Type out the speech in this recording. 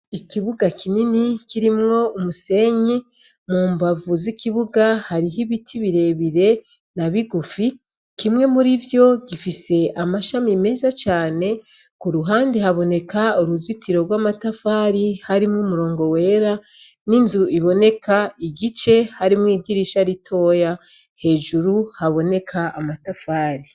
Ikibuga kinini kirimwo umusenyi mu mbavu z'ikibuga hariho ibiti birebire na bigufi kimwe muri vyo gifise amashami meza cane ku ruhandi haboneka uruzitiro rw'amatafari harimwo umurongo wera n'inzu iboneka igice harimwo igirisaa aritoya hejuru haboneka amatafali.